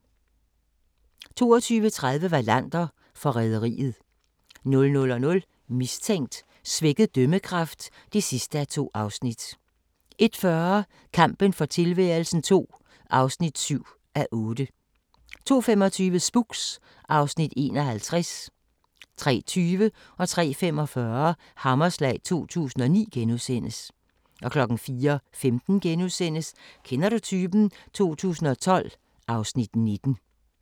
22:30: Wallander: Forræderiet 00:00: Mistænkt: Svækket dømmekraft (2:2) 01:40: Kampen for tilværelsen II (7:8) 02:25: Spooks (Afs. 51) 03:20: Hammerslag 2009 * 03:45: Hammerslag 2009 * 04:15: Kender du typen? 2012 (Afs. 19)*